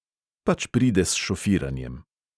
Pač pride s šofiranjem.